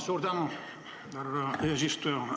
Suur tänu, härra eesistuja!